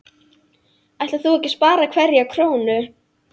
Ætlar þú ekki að spara hverja krónu?